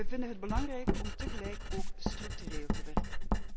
Wij vinden het belangrijk om tegelijk ook structureel te werken.